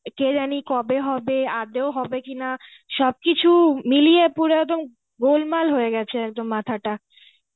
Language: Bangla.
কে জানি কবে হবে আদৌ হবে কি না, সবকিছু মিলিয়ে পুরো একদম গোলমাল হয়ে গেছে একদম মাথাটা